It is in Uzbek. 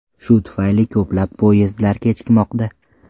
Shu tufayli ko‘plab poyezdlar kechikmoqda.